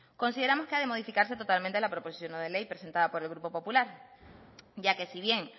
consideramos que ha de modificarse totalmente la proposición no de ley presentada por el grupo popular ya que si bien